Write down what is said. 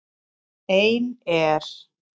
Ein er